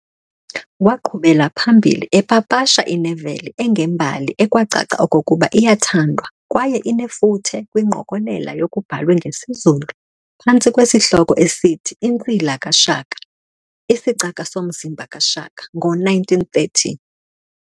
Waaqhubela phambili epapasha ineveli engembali ekwacaca okokuba iyathandwa kwaye inefuthe kwingqokolela yokubhalwe ngesiZulu phantsi kwesihloko esithi"Insila kaShaka", "isicaka somzimba kaShaka", ngo-1930.